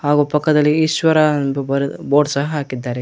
ಹಾಗು ಪಕ್ಕದಲ್ಲಿ ಈಶ್ವರ ಎಂದು ಬರೆದು ಬೋರ್ಡ್ ಸಹ ಹಾಕಿದ್ದಾರೆ.